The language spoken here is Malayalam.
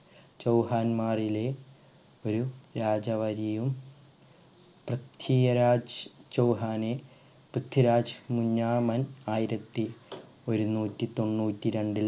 ചൗഹന്മാരിലെ ഒരു രാജവരിയു പൃഥ്വിരാജ് ചൗഹാനെ പൃഥ്വിരാജ് മുന്നാമൻ ആയിരത്തി ഒരുനൂറ്റി തൊണ്ണൂറ്റി രണ്ടിൽ